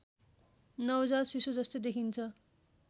नवजात शिशुजस्तै देखिन्छ